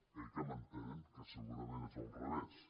eh que m’entenen que segurament és al revés